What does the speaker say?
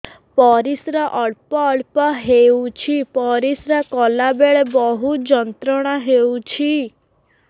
ପରିଶ୍ରା ଅଳ୍ପ ଅଳ୍ପ ହେଉଛି ପରିଶ୍ରା କଲା ବେଳେ ବହୁତ ଯନ୍ତ୍ରଣା ହେଉଛି